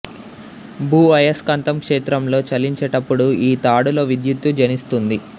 భూ అయస్కాంత క్షేత్రంలో చలించేటపుడు ఈ తాడులో విద్యుత్తు జనిస్తుంది